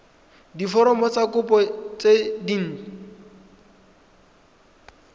diforomo tsa kopo tse dint